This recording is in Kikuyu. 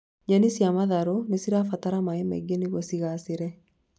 Nyeni cia matharũ nĩ cibataraga maĩ maingĩ nĩguo cigaacĩre